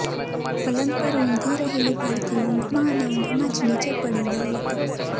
પલંગ પર ઊંઘી રહેલી બાળકી ઊંઘમાં અને ઊંઘમાં જ નીચે પડી ગઈ હતી